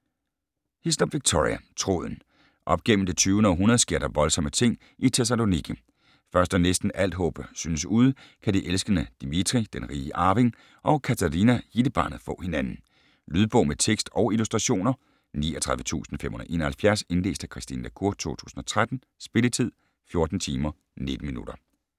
Hislop, Victoria: Tråden Op gennem det 20. århundrede sker der voldsomme ting i Thessaloniki. Først da næsten alt håb synes ude, kan de elskende Dimitri (den rige arving) og Katerina (hittebarnet) få hinanden. Lydbog med tekst og illustrationer 39571 Indlæst af Christine la Cour, 2013. Spilletid: 14 timer, 19 minutter.